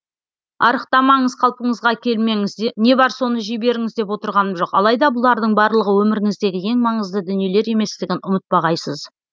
арықтамаңыз қалпыңызға келмеңіз не бар соны жей беріңіз деп отырғаным жоқ алайда бұлардың барлығы өміріңіздегі ең маңызды дүниелер еместігін ұмытпағайсыз